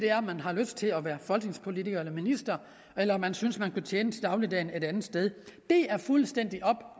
er om man har lyst til at være folketingspolitiker eller minister eller om man synes at man kan tjene til dagligdagen et andet sted det er fuldstændig op